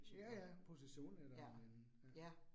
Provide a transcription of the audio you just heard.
Ja ja positionen eller men